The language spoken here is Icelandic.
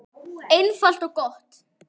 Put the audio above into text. Einfalt og gott.